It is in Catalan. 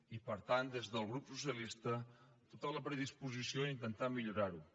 i per tant des del grup socialista tota la predisposició a intentar millorar ho